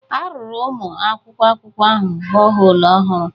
A ruru ụmụ akwụkwọ akwụkwọ ahụ bọholu ọhụrụ